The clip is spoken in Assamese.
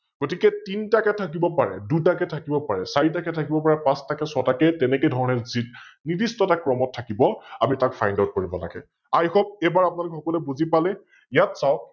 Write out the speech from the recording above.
গতিকে তিনটাকৈ থাকিব পাৰে, দুটাকৈ থাকিব পাৰে, চাৰিটাকৈ থাকিব পাৰে, পাচটাকৈ, ছয়টাকৈ তেনেকেধৰণে, নিদিস্থ এটা ক্ৰমত থাকিব আমি তাক FindOut কৰিব লাগে । IHope এইবাৰ আপোনালোক সকলোৱে বুজি পালে, ইয়াত চাওক